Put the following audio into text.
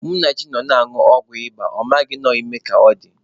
Munachi nọ na-anwụ ọgwụ ịba, ọ maghị na ọ bụ ime ka ọ dị.